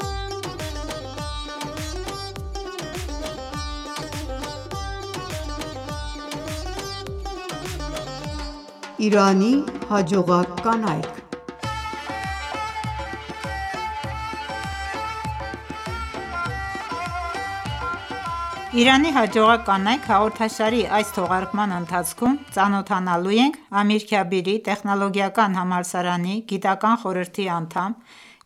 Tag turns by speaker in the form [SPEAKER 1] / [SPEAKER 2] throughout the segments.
[SPEAKER 1] Իրանի
[SPEAKER 2] հաջողակ կանայք «Իրանի հաջողակ կանայք» հաղորդաշարի այս թողարկման ընթացքում ծանոթանալու ենք Ամիրքաբիրի տեխնոլոգիական համալսարանի գիտական խորհրդի անդամ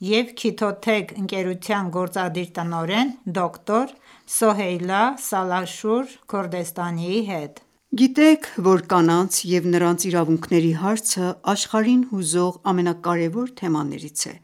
[SPEAKER 2] և Քիթոթեք ընկերության գործադիր տնօրեն դոկտոր Սոհեյլա Սալահշուր Քորդեստանիի հետ։
[SPEAKER 1] Գիտեք, որ կանանց և նրանց իրավունքների հարցը աշխարհին հուզող ամենակարևոր թեմաներից է։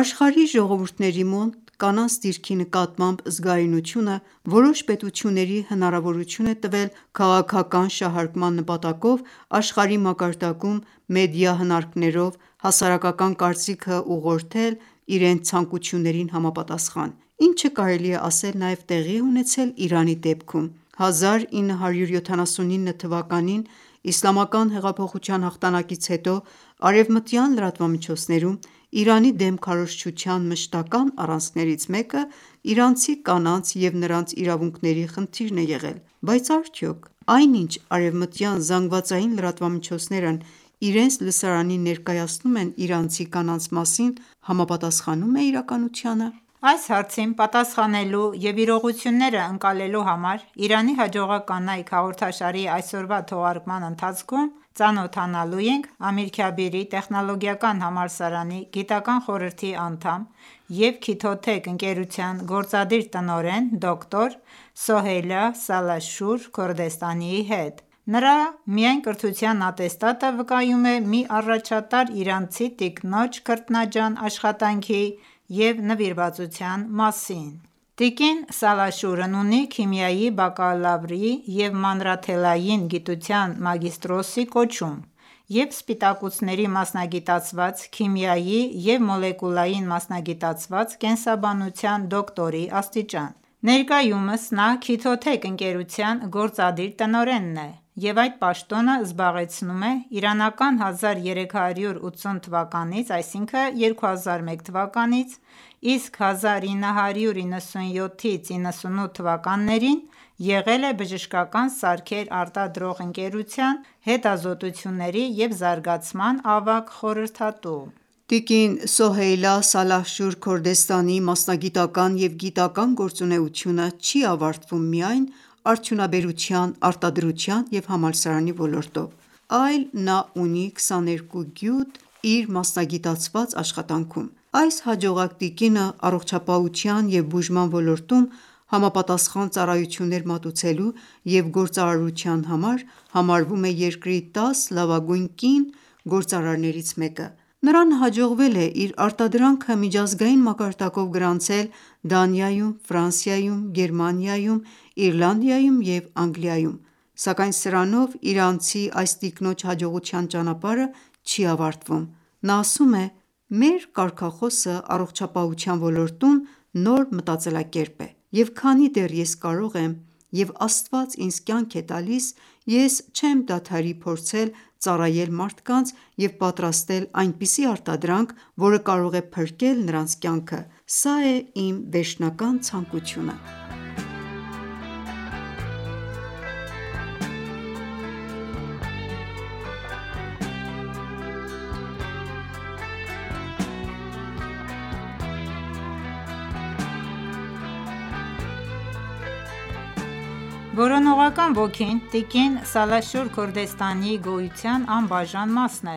[SPEAKER 1] Աշխարհի ժողովուրդների մոտ կանանց դիրքի նկատմամբ զգայունությունը որոշ պետությունների հնարավորություն է տվել քաղաքական շահարկման նպատակով աշխարհի մակարդակում մեդիա հնարքներով հասարակական կարծիքը ուղղորդել իրենց ցանկություններին համապատասխան, ինչը կարելի է ասել նաև տեղի է ունեցել Իրանի դեպքում։ 1979 թվականին Իսլամական հեղափոխության հաղթանակից հետո, արևմտյան լրատվամիջոցներում Իրանի դեմ քարոզչության մշտական առանցքներից մեկը իրանցի կանանց և նրանց իրավունքների խնդիրն է եղել: Բայց արդյո՞ք այն ինչ արևմտյան ԶԼՄ-ներն իրենց լսարանին ներկայացնում են իրանցի կանանց մասին, համապատասխանո՞ւմ է իրականությանը:
[SPEAKER 2] Այս հարցին պատասխանելու և իրողություններն ընկալելու համար «Իրանի հաջողակ կանայք» հաղորդաշարի այսօրվա թողարկման ընթացքում ծանոթանալու ենք Ամիրքաբիրի տեխնոլոգիական համալսարանի գիտական խորհրդի անդամ և Քիթոթեք ընկերության գործադիր տնօրեն դոկտոր Սոհեյլա Սալահշուր Քորդեստանիի հետ: Նրա միայն կրթության ատեստատը վկայում է մի առաջատար իրանցի տիկնոջ քրտնաջան աշխատանքի ու նվիրվածության մասին: Տիկին Սալահշուրն ունի քիմիայի բակալավրի ու մանրաթելային գիտության մագիստրոսի կոչում և սպիտակուցների մասնագիտացված քիմիայի և մոլեկուլային մասնագիտացված կենսաբանության դոկտորի աստիճան: Ներկայումս նա Քիթոթեք «Chitotech» (որակ, արտադրություն և ջանադրություն) ընկերության գործադիր տնօրենն է, և այդ պաշտոնը զբաղեցնում է իրանական 1380 թվականից, իսկ 1997-98 թվականներին եղել է բժշկական սարքեր արտադրող ընկերության հետազոտությունների և զարգացման ավագ խորհրդատու:
[SPEAKER 1] Տիկին Սոհեյլա Սալահշուր Քորդստանիի մասնագիտական և գիտական գործունեությունը չի ավարտվում միայն արդյունաբերության, արտադրության և համալսարանի ոլորտով, այլ նա ունի 22 գյուտ իր մասնագիտացված աշխատանքում։ Այս հաջողակ տիկինը առողջապահության և բուժման ոլորտում համապատասխան ծառայություններ մատուցելու և գործարարության համար համարվում է երկրի 10 լավագույն կին գործարարներից մեկը։ Նրան հաջողվել է իր արտադրանքը միջազգային մակարդակով գրանցել Դանիայում, Ֆրանսիայում, Գերմանիայում, Իռլանդիայում և Անգլիայում, սակայն սրանով իրանցի այս տիկնոջ հաջողության ճանապարհը չի ավարտվում։ Նա ասում է. «Մեր կարգախոսը առողջապահության ոլորտում նոր մտածելակերպ է, և քանի դեռ ես կարող եմ, և Աստված ինձ կյանք է տալիս, ես չեմ դադարի փորձել ծառայել մարդկանց և պատրաստել այնպիսի արտադրանք, որը կարող է փրկել նրանց կյանքը: Սա է իմ վերջնական ցանկությունը»:
[SPEAKER 2] Որոնողական ոգին տիկին Սալահշուր Քորդեստանիի գոյության անբաժան մասն է։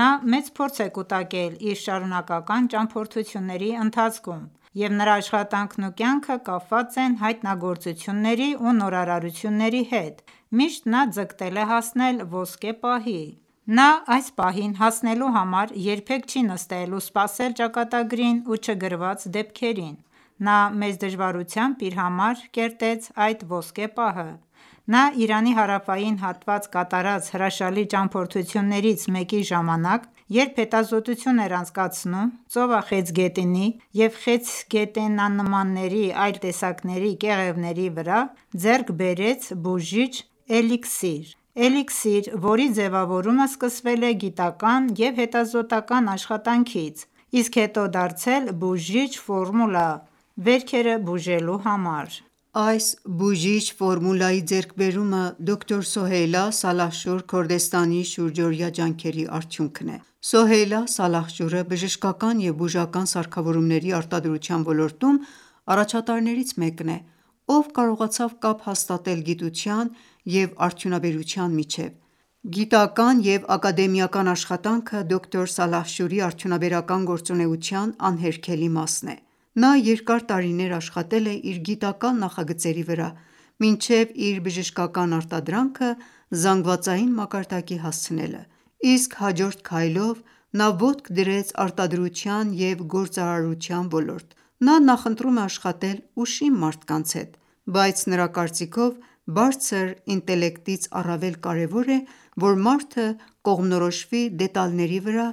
[SPEAKER 2] Նա մեծ փորձ է կուտակել իր շարունակական ճամփորդությունների ընթացքում և նրա աշխատանքն ու կյանքը կապված են հայտնագործությունների ու նորարարությունների հետ։ Միշտ նա ձգտել է հասնել ոսկե պահի: Նա այս պահին հասնելու համար երբեք չի նստել ու սպասել ճակատագրին ու չգրված դեպքերին։ Նա մեծ դժվարությամբ իր համար կերտեց այդ ոսկե պահը։ Նա Իրանի հարավային հատված կատարած հրաշալի ճամփորդություններից մեկի ժամանակ երբ հետազոտություն էր անցկացնում ծովախեցգետնի և խեցգետնանմանների այլ տեսակների կեղևների վրա, ձեռք բերեց բուժիչ էլիքսիր։ Էլիքսիր, որի ձևավորումը սկսվել է գիտական և հետազոտական աշխատանքից, իսկ հետո դարձել բուժիչ ֆորմուլա վերքերը բուժելու համար։ Այս բուժիչ ֆորմուլայի ձեռքբերումը
[SPEAKER 1] դոկտոր Սոհեյլա Սալահշուր Քորդեստանիի շուրջօրյա ջանքերի արդյունքն է։Սոհեյլա Սալահշուրը բժշկական և բուժական սարքավորումների արտադրության ոլորտում առաջատարներից մեկն է, ով կարողացավ կապ հաստատել գիտության և արդյունաբերության միջև։ Գիտական և ակադեմիական աշխատանքը դոկտոր Սալահշուրի արդյունաբերական գործունեության անհերքելի մասն է: Նա երկար տարիներ աշխատել է իր գիտական նախագծերի վրա՝ մինչև իր բժշկական արտադրանքը զանգվածային մակարդակի հասցնելը, իսկ հաջորդ քայլով նա ոտք դրեց արտադրության և գործարարության ոլորտ։ Նա նախընտրում է աշխատել ուշիմ մարդկանց հետ։ Բայց նրա կարծիքով՝բարձր ինտելեկտից առավել կարևոր է, որ մարդը կողմնորոշվի դետալների վրա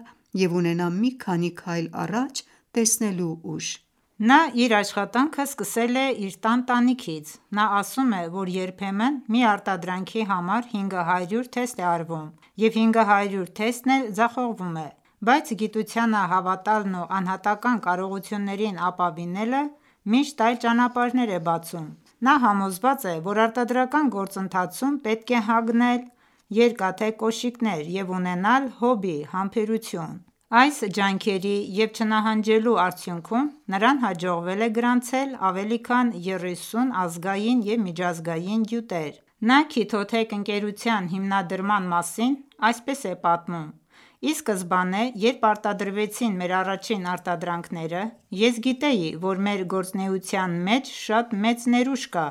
[SPEAKER 1] և ունենա մի քանի քայլ առաջ տեսնելու ուժ»:
[SPEAKER 2] Նա իր աշխատանքը սկսել է իր տան տանիքից։ Նա ասում է, որ երբեմն մի արտադրանքի համար 500 թեստ է արվում, և 500 թեստն էլ ձախողվում է։ Բայց գիտությանը հավատալն ու անհատական կարողություններին ապավինելը միշտ այլ ճանապարհներ է բացում։ Նա համոզված է, որ արտադրական գործընթացում պետք է հագնել երկաթե կոշիկներ և ունենալ Հոբի համբերություն։ Այս ջանքերի և չնահանջելու արդյունքում նրան հաջողվել է գրանցել ավելի քան 30 ազգային և միջազգային գյուտեր: Նա «Chitotech »-ի սհիմնադրման մասին այսպես է պատմում. «Ի սկզբանե, երբ արտադրվեցին մեր առաջին արտադրանքները, ես գիտեի, որ մեր գործունեության մեջ շատ մեծ ներուժ կա։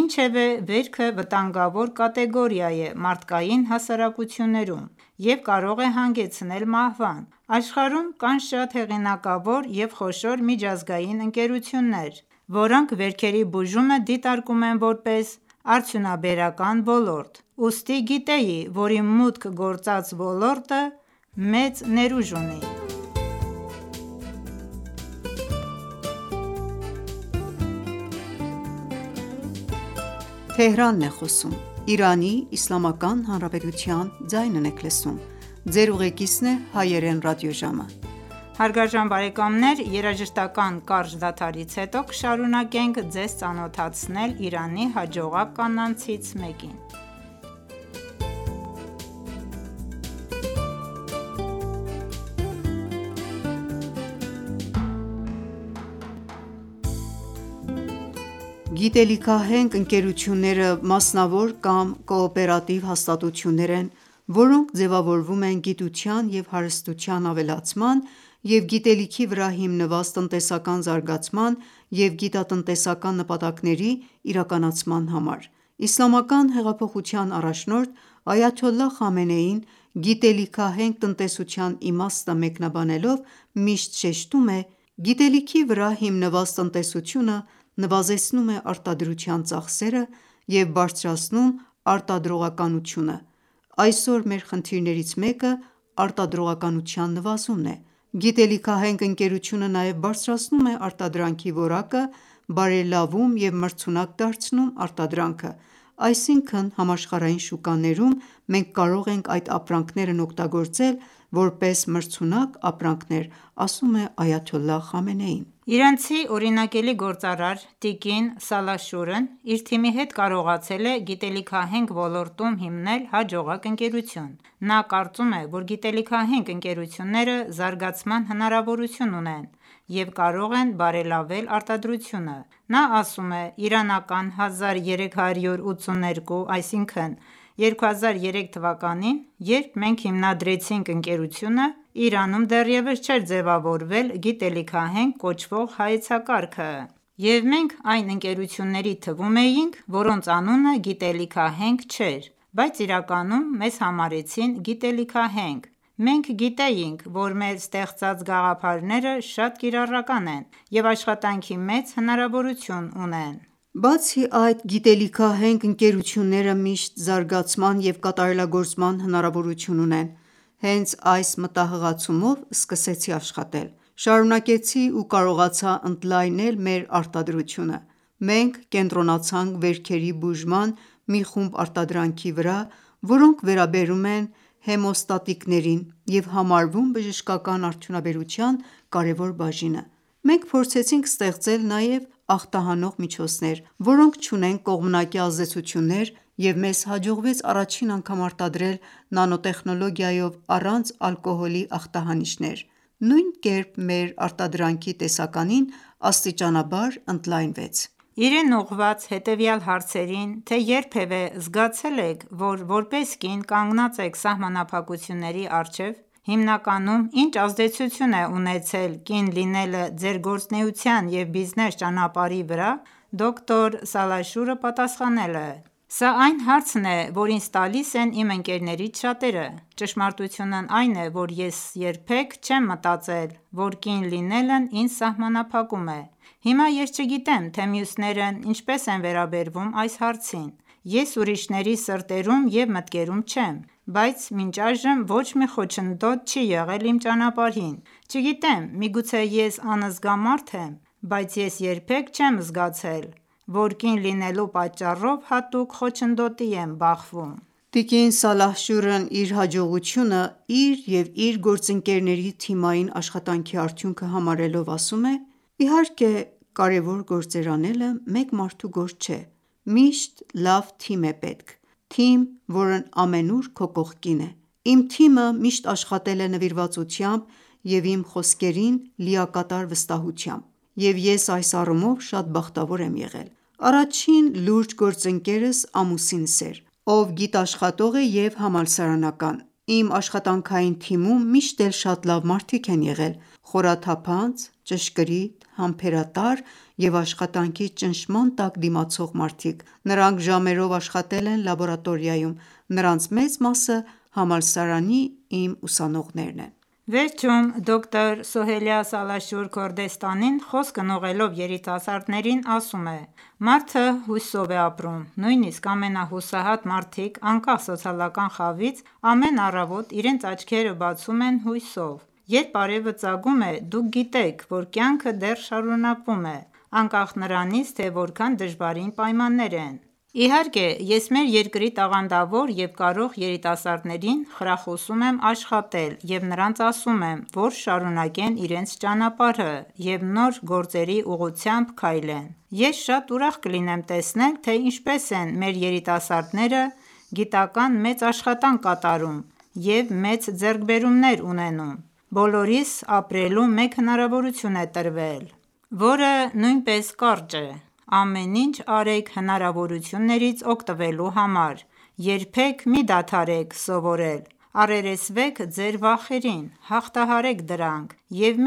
[SPEAKER 2] Ինչևէ, վերքը վտանգավոր կատեգորիա է մարդկային հասարակություններում և կարող է հանգեցնել մահվան։ Աշխարհում կան շատ հեղինակավոր և խոշոր միջազգային ընկերություններ, որոնք վերքերի բուժումը դիտարկում են որպես արդյունաբերական ոլորտ։ Ուստի գիտեի, որ իմ մուտք գործած ոլորտը մեծ ներուժ ունի»։
[SPEAKER 1] Գիտելիքահենք ընկերությունները մասնավոր կամ կոոպերատիվ հաստատություններ են, որոնք ձևավորվում են գիտության և հարստության ավելացման և գիտելիքի վրա հիմնված տնտեսական զարգացման և գիտատնտեսական նպատակների իրականացման համար: Իսլամական հեղափոխության առաջնորդ Այաթոլլահ Խամենեին գիտելիքահենք տնտեսության իմաստը մեկնաբանելով միշտ շեշտում է. «Գիտելիքի վրա հիմնված տնտեսությունը նվազեցնում է արտադրության ծախսերը և բարձրացնում արտադրողականությունը, այսօր մեր խնդիրներից մեկը արտադրողականության նվազումն է։ Գիտելիքահենք ընկերությունը նաև բարձրացնում է արտադրանքի որակը, բարելավում և մրցունակ դարձնում արտադրանքը։ Այսինքն՝ համաշխարհային շուկաներում մենք կարող ենք այդ ապրանքներն օգտագործել որպես մրցունակ ապրանքներ»։
[SPEAKER 2] Իրանցի օրինակելի գործարար՝ տիկին Սալահշուրն իր թիմի հետ կարողացել է գիտելիքահենք ոլորտում հիմնել հաջողակ ընկերություն: Նա կարծում է, որ գիտելիքահենք ընկերությունները զարգացման հնարավորություն ունեն և կարող են բարելավել արտադրությունը։ Նա ասում է.-«Իրանական 1382 թվականին, երբ մենք հիմնադրեցինք ընկերությունը, Իրանում դեռևս չէր ձևավորվել գիտելիքահենք կոչվող հայեցակարգ, և մենք այն ընկերությունների թվում էինք, որոնց անունը գիտելիքահենք չէր, բայց իրականում մեզ համարեցին գիտելիքահենք։ Մենք գիտեինք, որ մեր ստեղծած գաղափարները շատ կիրառական են և աշխատանքի մեծ հնարավորություն ունեն։
[SPEAKER 1] Բացի այդ, գիտելիքահենք ընկերությունները միշտ զարգացման և կատարելագործման հնարավորություն ունեն: Հենց այս մտահղացումով սկսեցի աշխատել, շարունակեցի ու կարողացա ընդլայնել մեր արտադրությունը։ Մենք կենտրոնացանք վերքերի բուժման մի խումբ արտադրանքի վրա, որոնք վերաբերում են հեմոստատիկներին, և համարվում բժշկական արդյունաբերության կարևոր բաժինը: Մենք փորձեցինք ստեղծել նաև ախտահանող միջոցներ, որոնք չունեն կողմնակի ազդեցություններ, և մեզ հաջողվեց առաջին անգամ արտադրել նանո տեխնոլոգիայով առանց ալկոհոլի ախտահանիչներ։ Նույն կերպ մեր արտադրանքի տեսականին աստիճանաբար ընդլայնվեց»։
[SPEAKER 2] Իրեն ուղղված հետևյալ հարցերին՝ թե երբևէ զգացե՞լ եք, որ որպես կին կանգնած եք սահմանափակությունների առջև ։ Հիմնականում ի՞նչ ազդեցություն է ունեցել կին լինելը Ձեր գործունեության և բիզնես ճանապարհի վրա, դոկտո Սալահշուրը պատասխանել է,-« Սա այն հարցն է, որն ինձ տալիս են իմ ընկերներից շատերը։ Ճշմարտությունն այն է, որ ես երբեք չեմ մտածել, որ կին լինելն ինձ սահմանափակում է: Հիմա ես չգիտեմ, թե մյուսներն ինչպես են վերաբերվում այս հարցին: Ես ուրիշների սրտերում և մտքերում չեմ, բայց մինչ այժմ ոչ մի խոչընդոտ չի եղել իմ ճանապարհին: Չգիտեմ, միգուցե ես անզգա մարդ եմ։ Բայց ես երբեք չեմ զգացել, որ կին լինելու պատճառով հատուկ խոչընդոտի եմ բախվում»։
[SPEAKER 1] Տիկին Սալահշուրն իր հաջողությունը իր և իր գործընկերների թիմային աշխատանքի արդյունքը համարելով ասում է․-««Իհարկե, կարեւոր գործեր անելը մեկ մարդու գործ չէ։ Միշտ լավ թիմ է պետք։ Թիմ, որն ամենուր քո կողքին է։ Իմ թիմը միշտ աշխատել է նվիրվածությամբ և իմ խոսքերին լիակատար վստահությամբ, և ես այս առումով շատ բախտավոր եմ եղել։ Առաջին լուրջ գործընկերս ամուսինս էր, ով գիտաշխատող է և համալսարանական։ Իմ աշխատանքային թիմում միշտ էլ շատ լավ մարդիկ են եղել։ Խորաթափանց, ճշգրիտ, համբերատար և աշխատանքի ճնշման տակ դիմացող մարդիկ։ Նրանք ժամերով աշխատել են լաբորատորիայում։ Նրանց մեծ մասը համալսարանի իմ ուսանողներն են»։
[SPEAKER 2] Վերջում դոկտոր Սոհեյլա Սալահշուր Քորդեստանին խոսքն ուղղելով երիտասարդներին ասում է. «Մարդը հույսով է ապրում։ Նույնիսկ ամենահուսահատ մարդիկ, անկախ սոցիալական խավից, ամեն առավոտ իրենց աչքերը բացում են հույսով։ Երբ արևը ծագում է, դուք գիտեք, որ կյանքը դեռ շարունակվում է, անկախ նրանից, թե որքան դժվարին պայմաններ են: Իհարկե, ես մեր երկրի տաղանդավոր և կարող երիտասարդներին, խրախուսում եմ աշխատել և նրանց ասում եմ, որ շարունակեն իրենց ճանապարհը և նոր գործերի ուղղությամ քայլեն։ Ես շատ ուրախ կլինեմ տեսնել, թե ինչպես են մեր երիտասարդները գիտական մեծ աշխատանք կատարում և մեծ ձեռքբերումներ ունենում։ Բոլորիս ապրելու մեկ հնարավորություն է տրվել, որը նույնպես կարճ է։ Ամեն ինչ արեք հնարավորություններից օգտվելու համար։ Երբեք մի դադարեք սովորել: Առերեսվեք ձեր վախերին, հաղթահարեք դրանք և